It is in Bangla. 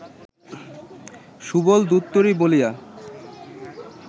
সুবল দুত্তোরি বলিয়া